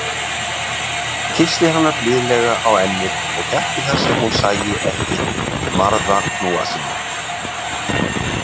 Kyssti hana blíðlega á ennið- og gætti þess að hún sæi ekki marða hnúa sína.